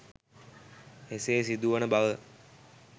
එසේ සිදුවන බව